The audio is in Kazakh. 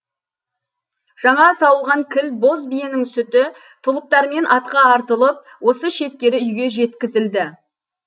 жаңа сауылған кіл боз биенің сүті тұлыптармен атқа артылып осы шеткері үйге жеткізілді